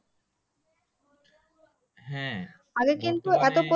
হ্যাঁ